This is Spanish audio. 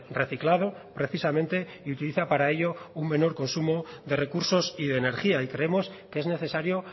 reciclado precisamente y utiliza para ello un menor consumo de recursos y de energía y creemos que es necesario